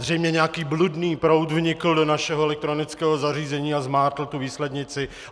Zřejmě nějaký bludný proud vnikl do našeho elektronického zařízení a zmátl tu výslednici.